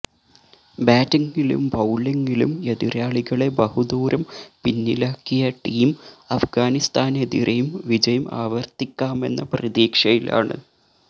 ബാറ്റിങ്ങിലും ബൌളിങ്ങിലും എതിരാളികളെ ബഹുദൂരം പിന്നിലാക്കിയ ടീം അഫ്ഗാനിസ്ഥാനെതിരെയും വിജയം ആവര്ത്തിക്കാമെന്ന പ്രതീക്ഷയിലാണ്